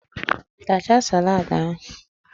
Tachaa salad ahụ!.